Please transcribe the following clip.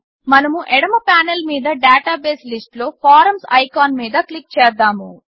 మనము ఎడమ పానెల్ మీద డాటాబేస్ లిస్ట్లో ఫారమ్స్ ఐకాన్ మీద క్లిక్ చేద్దాము